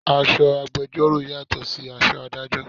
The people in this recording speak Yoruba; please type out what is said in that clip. Aṣọ agbẹjoro yàtò sí aṣọ Ádájọ́.